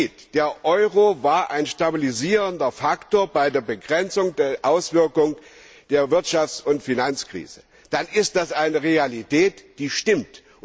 Wenn dort steht Der Euro war ein stabilisierender Faktor bei der Begrenzung der Auswirkung der Wirtschafts und Finanzkrise, dann ist das eine Realität, die stimmt.